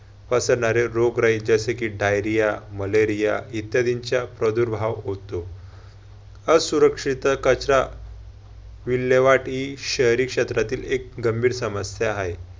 पसरणारे रोगराई जसे कि diarhea, malaria इत्यादींचा प्रादुर्भाव होतो. असुरक्षित कचरा विलेवाट ही शहरी क्षेत्रातील एक गंभीर समस्या हाय.